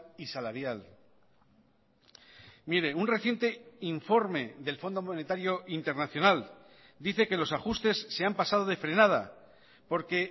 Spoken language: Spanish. y salarial mire un reciente informe del fondo monetario internacional dice que los ajustes se han pasado de frenada porque